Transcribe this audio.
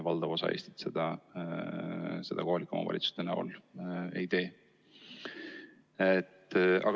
Valdav osa Eesti kohalikest omavalitsustest seda ei tee.